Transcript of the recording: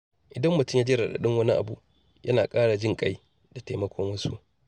Idan mutum ya ji raɗaɗin wani abu, yana ƙara jin-ƙai da taimakon wasu.